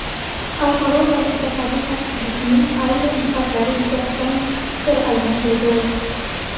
Xalqaro va mintaqaviy xavfsizlikning ayrim jihatlari yuzasidan fikr almashildi.